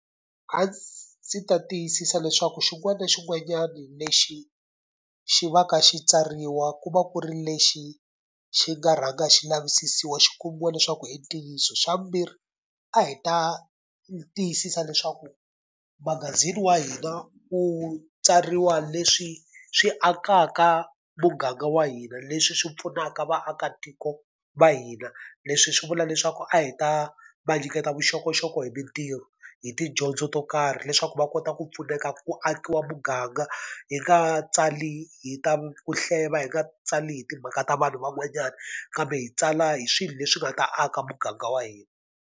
A ndzi ta tiyisisa leswaku xin'wana na xin'wanyana lexi xi va ka xi tsariwa ku va ku ri lexi xi nga rhanga xi lavisisiwa xi kumiwa leswaku hi ntiyiso. Xa vumbirhi a hi ta tiyisisa leswaku magazini wa hina wu tswariwa leswi swi akaka muganga wa hina, leswi swi pfunaka vaakatiko va hina. Leswi hi swi vula leswaku a hi ta va nyiketa vuxokoxoko hi mitirho, hi tidyondzo to karhi, leswaku va kota ku pfuneka ku akiwa muganga. Hi nga tsali hi ta ku hleva, hi nga tsali hi timhaka ta vanhu van'wanyana, kambe hi tsala hi swilo leswi nga ta aka muganga wa hina.